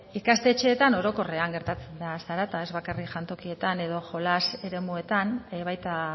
ikastetxeetan orokorrean gertatzen da zarata ez bakarrik jantokietan edo jolas eremuetan baita